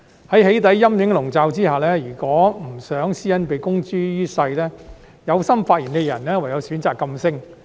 在"起底"陰影籠罩下，如果不想私隱被公諸於世，有心發聲的人唯有選擇噤聲。